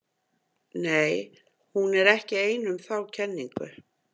Nei, hún er ekki ein um þá kenningu.